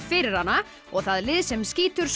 fyrir hana og það lið sem skýtur